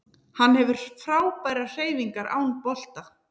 Hann hefur frábærar hreyfingar án bolta